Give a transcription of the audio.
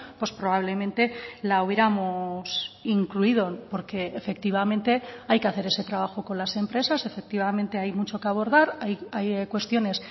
pues probablemente la hubiéramos incluido porque efectivamente hay que hacer ese trabajo con las empresas efectivamente hay mucho que abordar hay cuestiones